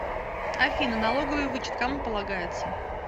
афина налоговый вычет кому полагается